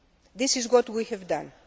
This is what we have done.